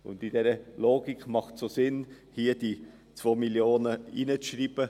In dieser Logik ist es auch sinnvoll, hier diese 2 Mio. Franken hineinzuschreiben.